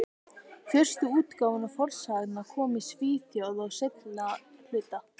Fyrstu útgáfur fornsagnanna komu í Svíþjóð á seinna hluta